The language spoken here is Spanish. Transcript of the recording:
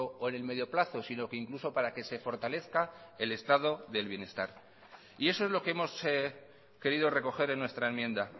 o el medio plazo sino que incluso para que se fortalezca el estado del bienestar y eso es lo que hemos querido recoger en nuestra enmienda